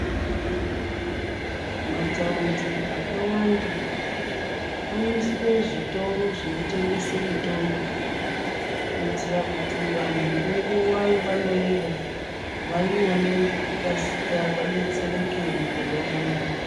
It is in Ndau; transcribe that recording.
Mathaundi akawanda, anosiswe zvitoro zvinotengese mitombo, kuitira kuti vanhu ngenguva yevanoida, vaione ngekukasika ,vadetsereke mukurwara mwavo.